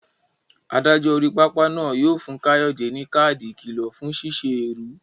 Adájọ́ orí pápá náà yóò fún Kayode ní káàdì ìkìlọ̀ fún ṣíṣe èrú.